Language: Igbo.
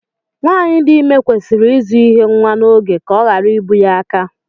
Nwaanyị di ime kwesịrị ịzụ ihe nwa n'oge ka ọ ghara ibu ya aka.